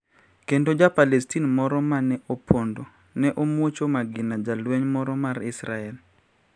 Kendo Ja palestin moro ma ne opondo ne omwuocho magina jalweny moro mar Israel